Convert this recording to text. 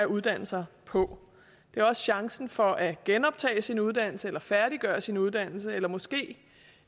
uddanne sig på det er også chancen for at genoptage sin uddannelse færdiggøre sin uddannelse eller måske